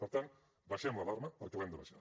per tant abaixem l’alarma perquè l’hem d’abaixar